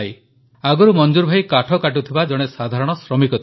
ଆଗରୁ ମଂଜୁର୍ ଭାଇ କାଠ କାଟୁଥିବା ଜଣେ ସାଧାରଣ ଶ୍ରମିକ ଥିଲେ